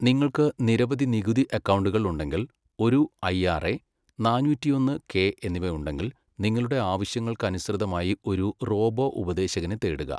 നിങ്ങൾക്ക് നിരവധി നികുതി അക്കൗണ്ടുകൾ ഉണ്ടെങ്കിൽ, ഒരു ഐആർഎ, നാന്നൂറ്റിയൊന്ന് കെ എന്നിവ ഉണ്ടെങ്കിൽ, നിങ്ങളുടെ ആവശ്യങ്ങൾക്ക് അനുസൃതമായി ഒരു റോബോ ഉപദേശകനെ തേടുക.